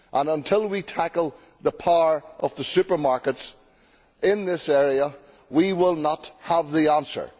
Until we tackle the power of the supermarkets in this area we will not have the answer.